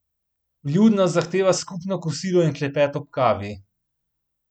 Vljudnost zahteva skupno kosilo in klepet ob kavi.